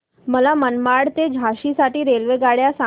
मला मनमाड ते झाशी साठी रेल्वेगाड्या सांगा